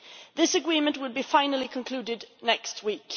This agreement will be finally concluded next week.